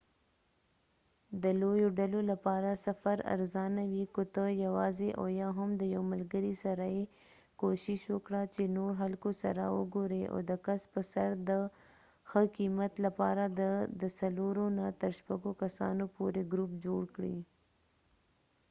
د لويو ډلو لپاره سفر ارزانه وي ، که ته یواځی او یا هم د یو ملګری سره یې ،کوښښ وکړه چې نور خلکو سره وګوری او د کس په سر د ښه قیمت لپاره د د څلورو نه تر شپږو کسانو پورې ګروپ جوړ کړي